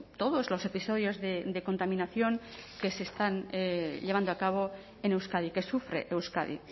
todos los episodios de contaminación que se están llevando a cabo en euskadi que sufre euskadi